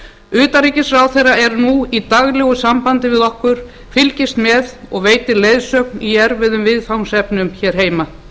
utanríkisráðherra er nú í daglegu sambandi við okkur fylgist með og veitir leiðsögn í erfiðum viðfangsefnum hér heima